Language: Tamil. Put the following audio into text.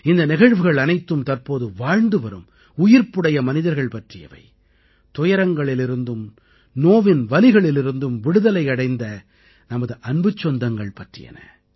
இந்த நிகழ்வுகள் அனைத்தும் தற்போது வாழ்ந்துவரும் உயிர்ப்புடைய மனிதர்கள் பற்றியவை துயரங்களிலிருந்தும் நோவின் வலிகளிலிருந்தும் விடுதலை அடைந்த நமது அன்புச் சொந்தங்கள் பற்றியன